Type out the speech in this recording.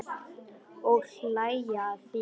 Og hlæja að þér.